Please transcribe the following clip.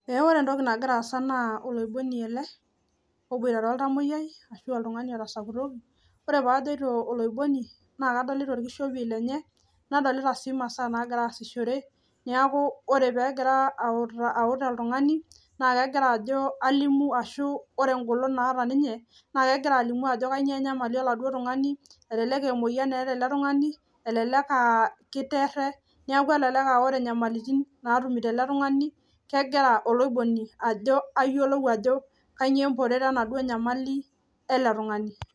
Eeh ore entoki nagiraasa naa oloiboni ele oboitare oltamoyai, ashu oltung'ani otasakutoki. Ore paajoito oloiboni naa kadolita olkishopie lenye nadolita sii masaaa naagira asishore. Neaku ore peegira auta aut oltung'ani naa kegira ajo alimu ashu ore engolon naata ninye naa kegira alimu ajo kanyoo enyamali oladuo tung'ani, elelek emoyan eeta ele tung'ani, elelek [aa] keiterre neaku elelek [aa] ore nyamalitin naatumito ele tung'ani kegira oloiboni ajo ayiolou ajo kanyoo emporet enaduo nyamali ele tung'ani.